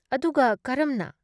ꯑꯗꯨꯒ ꯀꯔꯝꯅ?